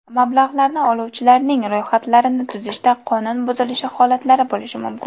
Mablag‘larni oluvchilarning ro‘yxatlarini tuzishda qonun buzilishi holatlari bo‘lishi mumkin.